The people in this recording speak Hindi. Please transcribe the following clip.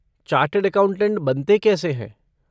चार्टेड एकाउंटेड बनते कैसे हैं?